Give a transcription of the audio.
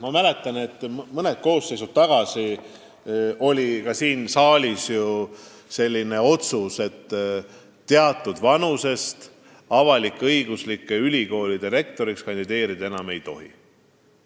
Ma mäletan, et mõni koosseis tagasi oli siin saalis arutusel selline otsus, et teatud vanusest avalik-õigusliku ülikooli rektoriks kandideerida ei tohi.